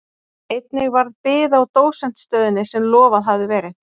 Einnig varð bið á dósentsstöðunni sem lofað hafði verið.